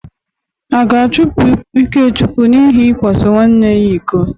A ga-achụpụ Ikechukwu n'ihi ịkwaso nwanne iko?